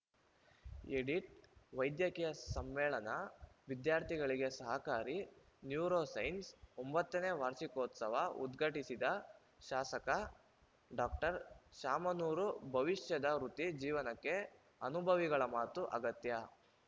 edit ವೈದ್ಯಕೀಯ ಸಮ್ಮೇಳನ ವಿದ್ಯಾರ್ಥಿಗಳಿಗೆ ಸಹಕಾರಿ ನ್ಯೂರೋಸೈನ್ಸಸ್‌ ಒಂಬತ್ತನೇ ವಾರ್ಷಿಕೋತ್ಸವ ಉದ್ಘಾಟಿಸಿದ ಶಾಸಕ ಡಾಕ್ಟರ್ ಶಾಮನೂರು ಭವಿಷ್ಯದ ವೃತ್ತಿ ಜೀವನಕ್ಕೆ ಅನುಭವಿಗಳ ಮಾತು ಅಗತ್ಯ